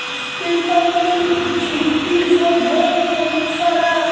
उसके बदल में छिट्टी सब है बहुत सारा--